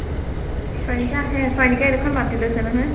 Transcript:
চয়নিকা আহে। চয়নিকাই এডোখৰ মাটি লৈছে নহয়।